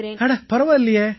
அட பரவாயில்லையே